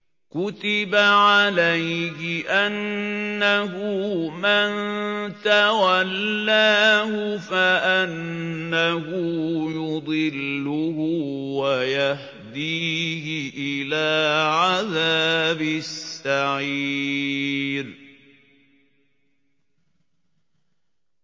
كُتِبَ عَلَيْهِ أَنَّهُ مَن تَوَلَّاهُ فَأَنَّهُ يُضِلُّهُ وَيَهْدِيهِ إِلَىٰ عَذَابِ السَّعِيرِ